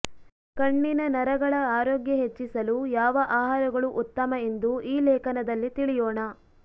ಕಣ್ಣಿನ ನರಗಳ ಆರೋಗ್ಯ ಹೆಚ್ಚಿಸಲು ಯಾವ ಆಹಾರಗಳು ಉತ್ತಮ ಎಂದು ಈ ಲೇಖನದಲ್ಲಿ ತಿಳಿಯೋಣ